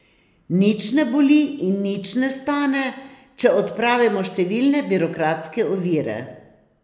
Nič ne boli in nič ne stane, če odpravimo številne birokratske ovire.